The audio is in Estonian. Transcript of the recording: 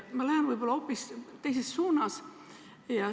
Ma lähen aga hoopis teises suunas.